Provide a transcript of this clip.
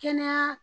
Kɛnɛya